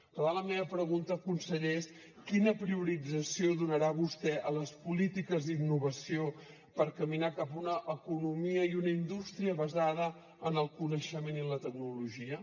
per tant la meva pregunta conseller és quina priorització donarà vostè a les polítiques d’innovació per caminar cap a una economia i una indústria basades en el coneixement i la tecnologia